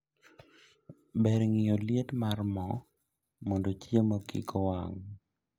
Ber ng'iyo liet mar moo mondo chiemo kikowang'